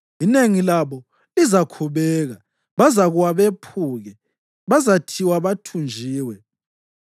Inengi labo lizakhubeka; bazakuwa bephuke, bazathiywa bathunjwe.”